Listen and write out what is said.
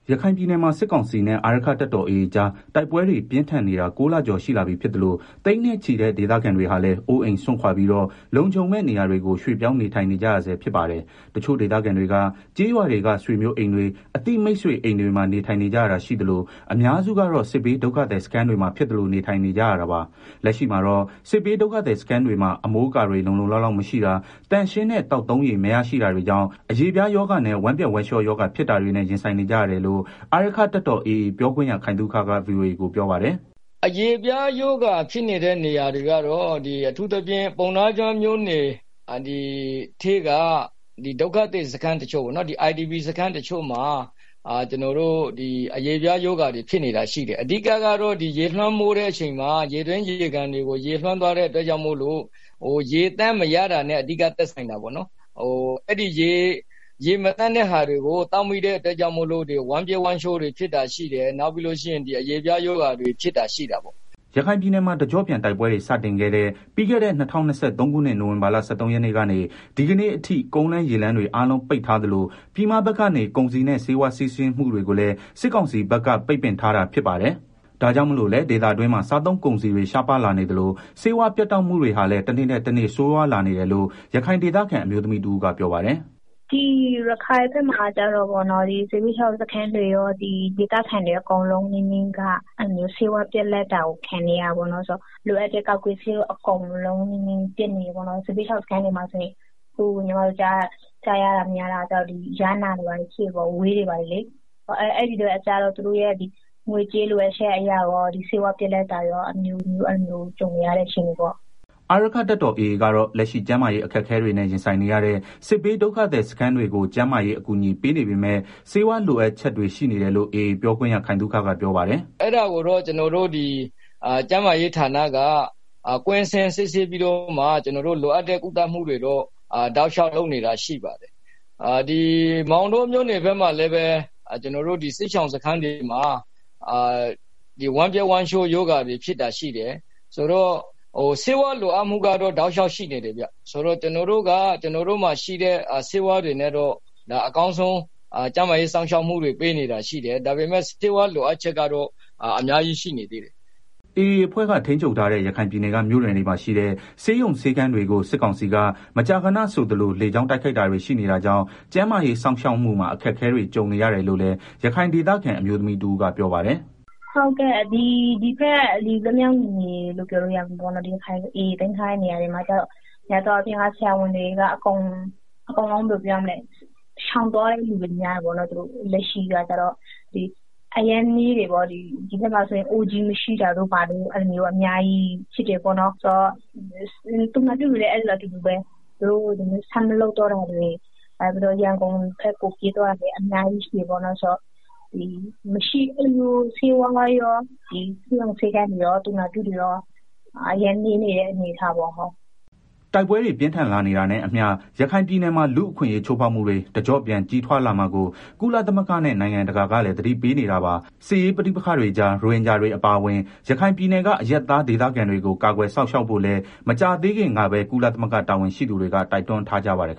ရခိုင်ပြည်နယ်မှာ စစ်ကောင်စီနဲ့ အာရက္ခတပ်တော်AAကြား တိုက်ပွဲတွေပြင်းထန်နေတာ ၉လကျော်ရှိလာပြီဖြစ်သလို သိန်းနဲ့ချီတဲ့ဒေသခံတွေဟာလည်း အိုးအိမ်စွန့်ခွာပြီးတော့ လုံခြုံမယ့်နေရာတွေကို ရွှေ့ပြောင်းနေထိုင်နေကြဆဲဖြစ်ပါတယ်။တချို့ဒေသခံတွေက ကျေးရွာတွေက ဆွေမျိုးအိမ်တွေ အသိမိတ်ဆွေအိမ်မှာ နေထိုင်ကြတာရှိသလို အများစုကတော့ စစ်ဘေးဒုက္ခသည်စခန်းတွေမှာ ဖြစ်သလိုနေထိုင်နေကြရတာပါ။ လက်ရှိမှာတော့ စစ်ဘေးဒုက္ခသည်စခန်းတွေမှာ အမိုးအကာတွေ လုံလုံလောက်လောက် မရှိတာ သန့်ရှင်းတဲ့ သောက်သုံးရေမရရှိတာတွေကြောင့် အရေပြားရောဂါနဲ့ ဝမ်းပျက်ဝမ်းလျှောဖြစ်တာတွေနဲ့ ရင်ဆိုင်နေကြရတယ်လို့ အာရက္ခတပ်တော် AA ပြောခွင့်ရ ခိုင်သုခက ဗွီအိုအေကို ပြောပါတယ်။ “ အရေပြားရောဂါဖြစ်နေတဲ့ နေရာတချို့ကတော့ ပုဏ္ဏားကျွန်းမြို့နယ်ထဲက ဒုက္ခသည် စခန်းတချို့ IDPစခန်းတချို့မှာ အရေပြားရောဂါတွေ ဖြစ်နေတာရှိတယ်။ အဓိကတော့ ရေလွမ်းမိုးတဲ့ အချိန်မှာ ရေတွင်း ရေကန်တွေ ပျက်စီးသွားတာကြောင့် ရေသန့်မရတာ တွေနဲ့အဓိက သက်ဆိုင်တာပေါ့နော်၊ အဲဒီရေမသန့်တဲ့ဟာတွေကို သောက်မိတဲ့ အတွက် ကြောင့်မို့ ဝမ်းပျက်ဝမ်းလျှောဖြစ်တာတွေရှိတယ် နောက်ပြီးတော့ အရေပြား ရောဂါဖြစ် တာတွေရှိတယ်။” ရခိုင်ပြည်နယ်မှာတကျော့ပြန်တိုက်ပွဲတွေ စတင်ခဲ့တဲ့ ပြီးခဲ့တဲ့ ၂၀၂၃ခုနှစ် နိုဝင်ဘာလ ၁၃ရက်နေ့က ဒီကနေ့အထိ ကုန်းလမ်းရေလမ်းတွေ အားလုံးပိတ်ထားသလို ပြည်မဘက်ကနေ ကုန်စည်နဲ့ ဆေးဝါးစီးဆင်းမှုတွေကိုလည်း စစ်ကောင်စီကဘက်က ပိတ်ပင်ထားတာဖြစ် ပါတယ်။ ဒါကြောင့်မလို့လည်း ဒေသတွင်းမှာ စားသုံးကုန်စည်တွေ ရှားပါးလာနေ သလို ဆေးဝါး ပြတ်တောက်မှုတွေဟာလည်း တနေ့ထက် တနေ့ဆိုးရွားလာနေတယ်လို့ ရခိုင်ဒေသခံ အမျိုးသမီးတဦးကပြောပါတယ်။ “ ဒီရခိုင်ဘက်မှာကျတော့ စစ်ဘေးရှောင်စခန်းတွေရော ဒေသခံတွေအကုန်လုံးက ဆေးဝါးပြတ် လပ်တာကို ခံနေရတာပေါ့နော်။ လိုအပ်တဲ့ ကာကွယ်ဆေးတွေ အကုန်လုံးပြတ်နေတယ်၊ အခုညီတို့ကြားရတာက စစ်ဘေးရှောင်စခန်းတွေမှာဆိုရင် ယားနာတွေ ဝဲတွေဘာတွေ ဖြစ် နေကြတယ်၊အဲတာကို သူတို့ရဲ့ ငွေကြေး လိုအပ်ချက်အရရော ဆေဝါးပြတ်လပ် တာတွေရော အမျိုးမျိုးကြုံနေရတဲ့ အခြေအနေရှိတယ်။” အာရက္ခတပ်တော်AA ကတော့ လက်ရှိကျန်းမာရေးအခက်အခဲတွေနဲ့ ရင်ဆိုင်နေရတဲ့ စစ်ဘေးဒုက္ခသည်စခန်းတွေကို ကျန်းမာရေး အကူအညီပေးနေပေမဲ့ ဆးဝါးလိုအပ်ချက်တွေရှိနေတယ်လို့ AAပြောခွင့်ရ ခိုင်သုခကပြောပါတယ်။ “ ကျနော်တို့ ကျန်းမာရေးဌာနက ကွင်းဆင်းစစ်ဆေးပြီးတော့မှ ကျနော်တို့ လိုအပ်တဲ့ ကုသမှု တွေတော့ တောက်လျောက်လုပ်နေတာရှိပါတယ်။ မောင်တောမြို့နယ်ဘက်မှာလည်း စစ် ရှောင်စခန်းတွေမှာ ဝမ်းပျက်ဝမ်းလျောရောဂါတွေ ဖြစ်တာရှိတယ်။ ဆိုတာ့ ဆေးဝါးလို အပ် မှုကတော့ တောက်လျောက်ရှိနေတယ်ဗျာ။ ဆိုတော့ ကျနော်တို့မှာ ရှိတဲ့ ဆေးဝါးတွေနဲ့ အကောင်းဆုံးကျန်းမာရေးစောင့်ရှောက်မှုတွေ ပေးနေတာရှိတယ် ဒါပေမယ့် ဆေးဝါးလို အပ်ချက်ကတော့ အများကြီးရှိနေသေးတယ်။” AAအဖွဲ့က ထိန်းချုပ်ထားတဲ့ ရခိုင်ပြည်နယ်က မြို့နယ်တွေမှာရှိတဲ့ ဆေးရုံဆေးခန်းတွေကို စစ်ကောင်စီက မကြာခဏဆိုသလို လေကြောင်းတိုက်ခိုက်တာတွေရှိနေတာကြောင့် ကျန်းမာရေး စောင့်ရှောက်မှုမှာ အခက်အခဲတွေ ကြုံနေရတယ်လို့လည်း ရခိုင်ဒေသခံ အမျိုးသမီးတဦးကပြောပါတယ်။ “ ဒီ AA ထိန်းချုပ်ထားတဲ့ နယ်မြေတွေမှာများသောအားဖြင့် ဆရာဝန်တွေက ရှောင်သွား တဲ့သူတွေ များတယ်ပေါ့နော် ဒီဘက်မှာဆိုရင် ဆရာဝန်အရမ်းနည်းတယ်၊ သားဖွားဆရာမ မရှိတာတို့ အဲလိုမျိုး အများကြီးရှိတယ်၊ သူနာပြုတွေလည်း အတူတူပဲ ဆက်မလုပ်တော့ တာတွေ နောက်ပြီးတော့ ရန်ကုန်ဘက်ကို ပြေးသွားတာတွေအများကြီးရှိတယ်ပေါ့နော် ဆိုတော့ ဆေးဝါးရော ဆေးရုံ ဆေးခန်းတွေရော သူနာပြုတွေရော အရမ်းနည်းနေတဲ့ အနေ အထားရှိပါတယ်။” တိုက်ပွဲတွေ ပြင်းထန်လာနေတာနဲ့အမျှ ရခိုင်ပြည်နယ်မှာ လူ့အခွင့်အရေး ချိုးဖောက်မှုတွေ တကျော့ပြန် ကြီးထွားလာမှာကို ကုလသမဂ္ဂနဲ့ နိုင်ငံတကာကလည်း သတိပေးနေတာပါ။ စစ်ရေးပဋိပက္ခတွေကြား ရိုဟင်ဂျာတွေ အပါအဝင် ရခိုင်ပြည်နယ်က အရပ်သား ဒေသခံတွေကို ကာကွယ်စောင့်ရှောက်ဖို့လည်း မကြာသေးခင်ကပဲ ကုလသမဂ္ဂ တာဝန်ရှိသူတွေ တိုက်တွန်းထားကြပါတယ်